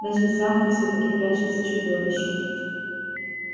значит в замке всё-таки прячется чудовище